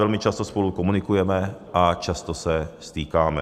Velmi často spolu komunikujeme a často se stýkáme.